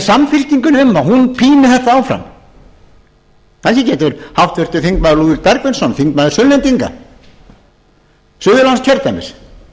samfylkingunni um að hún píni þetta áfram kannski getur háttvirtir þingmenn lúðvík bergvinsson þingmaður sunnlendinga suðurlandskjördæmis vitnað um það hvort það